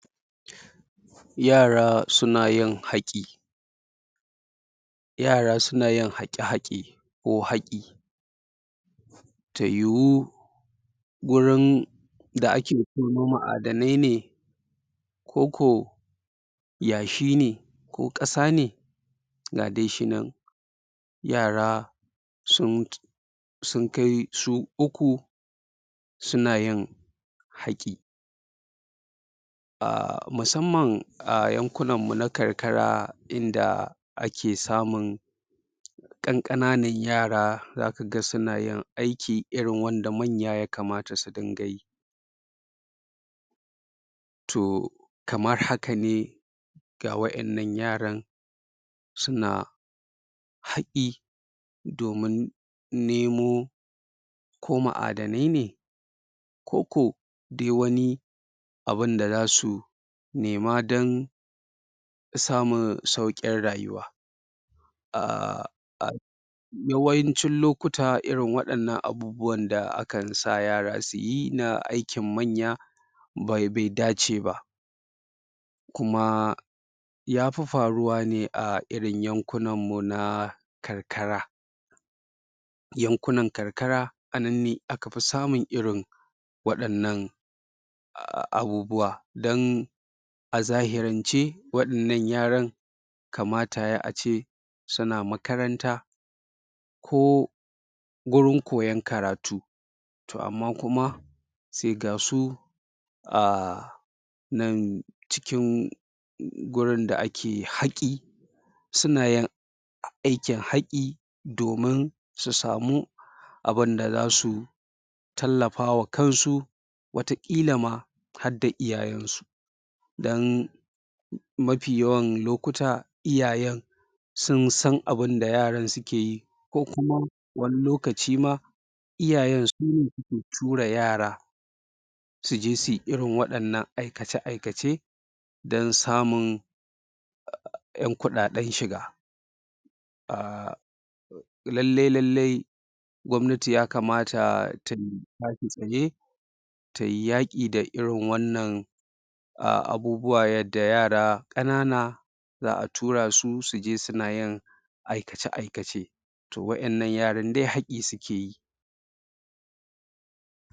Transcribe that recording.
Yara suna yin haƙi yara suna yin haƙe-haƙe ko haƙi ta yiwu gurin da ake tono ma'adanai ne koko yashi ne ko ƙasa ne ga dai shi nan yara sun sun kai su uku suna yin haƙi. A musamman a yankunanmu na karkara inda ake samun ƙanƙanan yara za ka ga suna yin aiki irin wanda manya ya kamata su dinga yi. to kamar haka ne ga waɗannan yaran suna haƙi domin nemo ko ma'adanai ne koko dai wani abunda za su nema don samun sauƙin rayuwa. a yawancin lokuta irin waɗannan abubuwan da aka sa yara su yi irin na aikin manya bai dace ba. kuma ya fi faruwa ne irin yankunanmu na karkara. Yankunan karkara a nan ne aka fi samun irin waɗannan abubuwa don a zahirance waɗannan yaran kamata ya yi a ce suna makaranta ko gurin koyon karatu to amma kuma sai ga su a nan cikin gurin da ake haƙi suna yin aikin haƙi domin su samu abunda za su tallafa wa kansu wataƙila ma hadda iyayensu. Don mafiyawan lokuta iyayen sun san abinda yaran suke yi. ko kuma wani lokaci ma iyayen sune suke tura yara su je su yi irin wannan aikace-aikace don samun ƴan kuɗaɗen shiga. a lalle-lalle gwamnati ya kamata ta tashi tsaye ta yi yaƙi da irin wannan a abubuwan yadda yara ƙanana za a tura su suje suna yin aikace-aikace to waɗannan yaran dai haƙi suke yi.